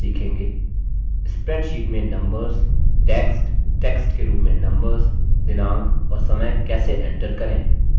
spreadsheet में numbers text text के रूप में numbers दिनांक और समय कैसे enter करें